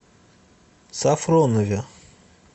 сафронове